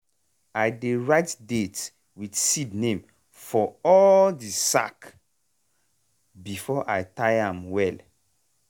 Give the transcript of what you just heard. i dey write date with seed name for all the sack before i tie am well.